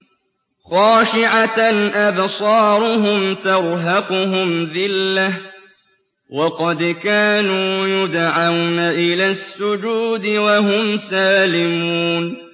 خَاشِعَةً أَبْصَارُهُمْ تَرْهَقُهُمْ ذِلَّةٌ ۖ وَقَدْ كَانُوا يُدْعَوْنَ إِلَى السُّجُودِ وَهُمْ سَالِمُونَ